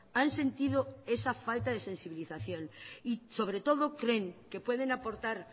han sentido esa falta de sensibilización y sobre todo creen que pueden aportar